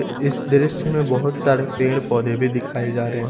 इस दृश्य में बहुत सारे पेड़ पौधे भी दिखाई जा रहे हैं।